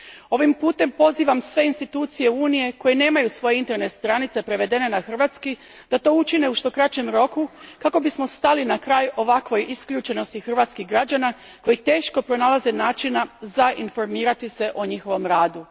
Ovim putem pozivam sve institucije Unije koje nemaju svoje internetske stranice prevedene na hrvatski da to učine u što kraćem roku kako bismo stali na kraj ovakvoj isključenosti hrvatskih građana koji teško pronalaze načine informiranja o njihovom radu.